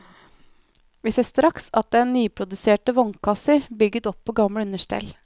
Vi ser straks at det er nyproduserte vognkasser bygget opp på gamle understell.